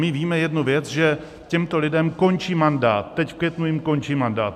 My víme jednu věc, že těmto lidem končí mandát, teď v květnu jim končí mandát.